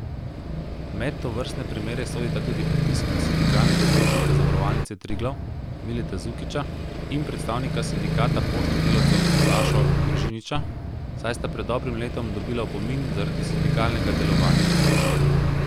Med tovrstne primere sodita tudi pritisk na sindikalnega zaupnika Zavarovalnice Triglav Mileta Zukića in predstavnika Sindikata poštnih delavcev Sašo Gržiniča, saj sta pred dobrim letom dobila opomin zaradi sindikalnega delovanja.